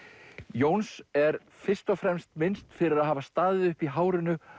Jóns er fyrst og fremst minnst fyrir að hafa staðið uppi í hárinu